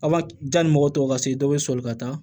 A ka jan ni mɔgɔ tɔw ka se dɔ bɛ sɔn ka taa